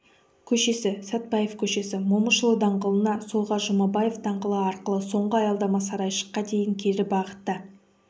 көшесі сатпаев көшесі момышұлы даңғылына солға жұмабаев даңғылы арқылы соңғы аялдама сарайшыққа дейін кері бағытта